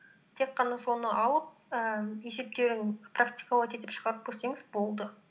тек қана соны алып ііі есептерін практиковать етіп шығарып көрсеңіз болды